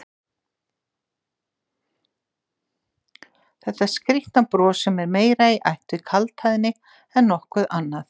Þetta skrýtna bros sem er meira í ætt við kaldhæðni en nokkuð annað?